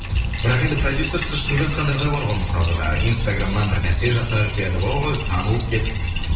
бірақ енді продюсерсіз шығып жатқандар да бар ғой мысалға жаңағы инстаграмнан бір нәрсе жасап жіберіп ой танылып кетіп